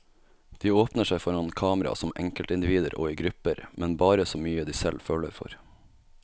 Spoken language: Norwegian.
De åpner seg foran kamera som enkeltindivider og i grupper, men bare så mye de selv føler for.